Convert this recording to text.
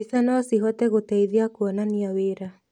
Mbica no cihote gũteithia kuonania wĩra.